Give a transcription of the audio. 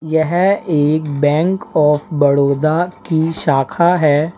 यह एक bank of Baroda की शाखा है।